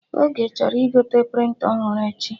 Oge chọrọ igote prịnta ọhụrụ echi